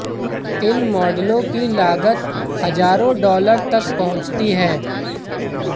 इन मॉडलों की लागत हजारों डॉलर तक पहुंचती है